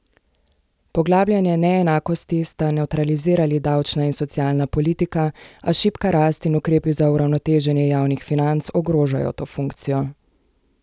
Poglabljanje neenakosti sta nevtralizirali davčna in socialna politika, a šibka rast in ukrepi za uravnoteženje javnih financ ogrožajo to funkcijo.